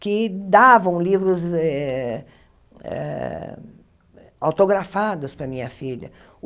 que davam livros eh eh autografados para a minha filha.